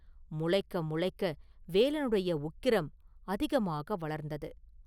முளைக்க முளைக்க வேலனுடைய உக்கிரம் அதிகமாக வளர்ந்தது.